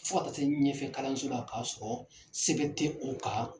Fo ka taa se ɲɛfɛ kalanso la k'a sɔrɔ sebɛn tɛ o kan.